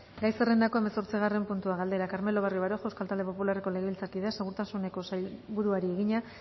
gai zerrendako hamazortzigarren puntua galdera carmelo barrio baroja euskal talde popularreko legebiltzarkideak segurtasuneko sailburuari egina